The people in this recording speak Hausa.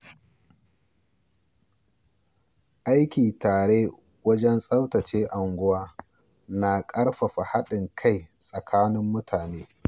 Aiki tare wajen tsaftace unguwa na ƙarfafa haɗin kai tsakanin mutane.